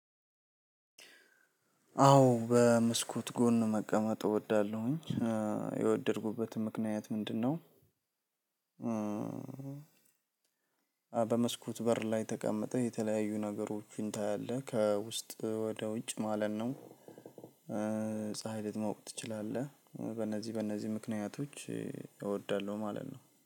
አዎ በመስኮት ጎን መቀመጥ እወዳለሁኝ የወደድኩበትን ምክንያት ምንድነው? በመስኮት በር ላይ ተቀምጠህ የተለያዩ ነገሮችን ታያለህ ከውስጥ ወደ ውጭ ማለት ነው። ፀሀይ ልትሞቅ ትችላለህ በእነዚህ በእነዚህ ምክንያቶች። እወዳለሁ ማለት ነው